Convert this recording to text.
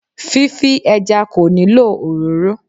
Fífí ẹja kò nílò òróró